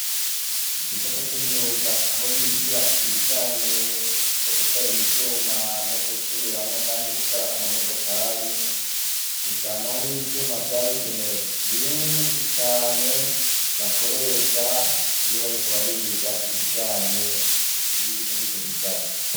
Mu gisata c'imyuga aho bigira ibijanye no guteranya ivyuma no gusubiramwo canke gukora amamodokori usanga hariho ivyuma vyabigenewe vyinshi cane bakoresha iyo bariko bariga ibijanye n'ibiri murico gisata.